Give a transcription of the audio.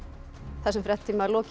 þessum fréttatíma er lokið